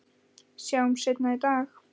Sjáumst seinna í dag